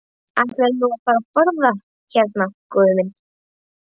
Ætlarðu nú að fara að borða hérna, góði minn?